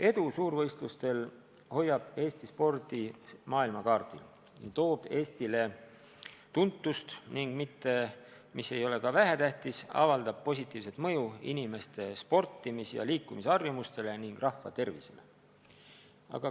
Edu suurvõistlustel hoiab Eesti spordi maailmakaardil, toob Eestile tuntust ning, mis ei ole ka vähetähtis, avaldab positiivset mõju inimeste sportimis- ja liikumisharjumustele ning rahva tervisele.